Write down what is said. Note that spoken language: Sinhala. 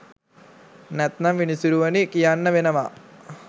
නැත්තම් විනිසුරුවනි කියන්න වෙනවා!